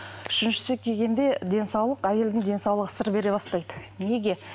үшіншісі келгенде денсаулық әйелдің денсаулығы сыр бере бастайды неге